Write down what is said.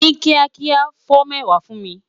Ni kiakia, fo mẹwa fun mi